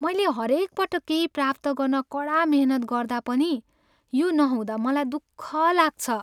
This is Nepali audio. मैले हरेक पटक केहि प्राप्त गर्न कडा मेहनत गर्दा पनि यो नहुँदा मलाई दुःख लाग्छ।